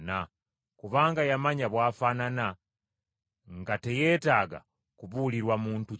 kubanga yamanya bw’afaanana, nga teyeetaaga kubuulirwa muntu kyali.